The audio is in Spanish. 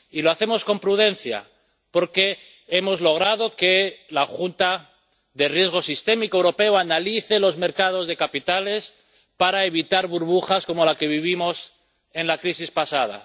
Y lo hacemos con prudencia, porque hemos logrado que la Junta Europea de Riesgo Sistémico analice los mercados de capitales para evitar burbujas como la que vivimos en la crisis pasada.